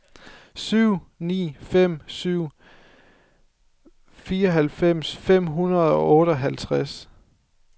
syv ni fem syv fireoghalvfems fem hundrede og otteoghalvtreds